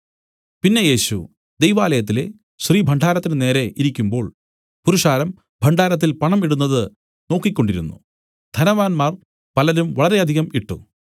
പിന്നെ യേശു ദൈവാലയത്തിലെ ശ്രീഭണ്ഡാരത്തിന് നേരെ ഇരിക്കുമ്പോൾ പുരുഷാരം ഭണ്ഡാരത്തിൽ പണം ഇടുന്നത് നോക്കിക്കൊണ്ടിരുന്നു ധനവാന്മാർ പലരും വളരെയധികം ഇട്ട്